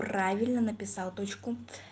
правильно написал точку